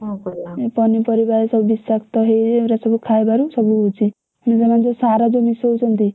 ଏ ପନିପରିବା ଏସବୁ ବିଷାକ୍ତ ହେଇ ଏଗୁରା ସବୁ ଖାଇବାରୁ ସବୁ ହଉଛି। ସେମାନେ ଯୋଉ ସାର ଯୋଉ ମିଶଉଛନ୍ତି